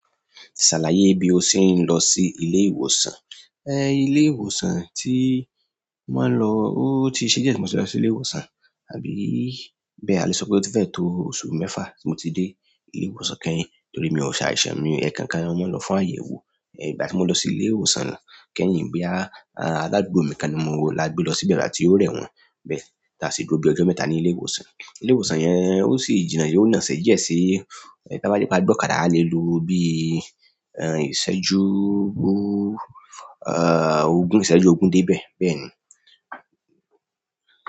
Sàlàyé bí o ṣe ń lọ sí ilé ìwòsàn. Ẹ̀, ilé ìwòsàn tí mo máa ń lọ, ó ti ṣe díẹ̀ tí mo ti lọ sí ilé ìwòsàn, àbí bẹ́ẹ̀ a lè sọ pé ó ti fẹ́ẹ̀ tó oṣù mẹ́fà tí mo ti dé ilé ìwòsàn kẹ́yìn torí mi ò ṣàìṣàn, mi ẹ̀ẹ̀kàn kan ni wón lọ fún àyẹ̀wò. Ẹ̀, ìgbà tí mo lọ sí ilé ìwòsàn náà kẹ́yìn bóyá, aládùúgbò mi kan ni mo lágbé lọ sí ibi ẹ̀gbà ti o rẹ wọ́n bẹ́ẹ̀, táa ṣe gbé o gbé ọjọ́ mẹ́ta ní ilé ìwòsàn. Ilé ìwòsàn yẹn ó sì jìnnà, yó na ṣèjẹ́ ṣe, ẹ̀ bá ti pé a gbọ̀kadà a lè lo bí, ẹ́ń, ìṣẹ́jú bú, ẹ́ẹ̀, ogún ìṣẹ́jú ogún dé ibẹ̀ bẹ́ẹ̀ ni.